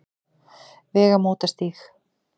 Vegamótastíg